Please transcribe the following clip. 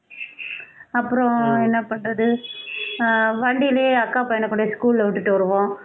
அப்புறம் என்ன பண்றது ஆஹ் வண்டியிலே அக்கா பையனை கொண்டுபோய் school ல விட்டுட்டு வருவோம்